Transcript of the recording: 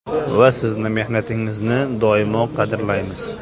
Va sizning mehnatingizni doimo qadrlaymiz.